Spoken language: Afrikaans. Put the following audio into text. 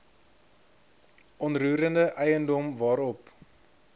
onroerende eiendom waarop